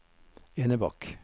Enebakk